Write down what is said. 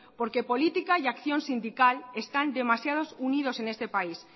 porque política y acción sindical están demasiado unidos en este país